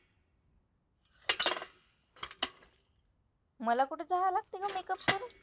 मला कुठं जायला लागतंय गं make up करून?